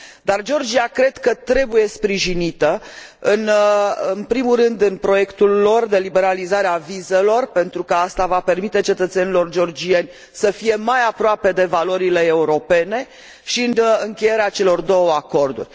Dar Georgia cred că trebuie sprijinită, în primul rând în proiectul ei de liberalizare a vizelor, pentru că asta va permite cetățenilor georgieni să fie mai aproape de valorile europene, și în încheierea celor două acorduri.